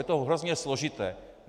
Je to hrozně složité.